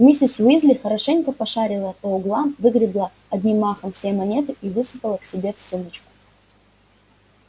миссис уизли хорошенько пошарила по углам выгребла одним махом все монеты и высыпала к себе в сумочку